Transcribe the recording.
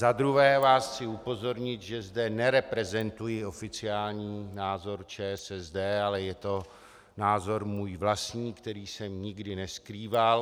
Za druhé vás chci upozornit, že zde nereprezentuji oficiální názor ČSSD, ale je to názor můj vlastní, který jsem nikdy neskrýval.